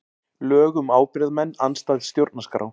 Lög um ábyrgðarmenn andstæð stjórnarskrá